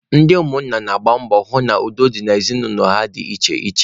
Ndị ụmụ nna na-agba mbọ hụ na udo dị n'ezinụlọ ha dị iche iche.